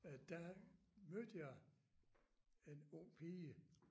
Øh der mødte jeg en ung pige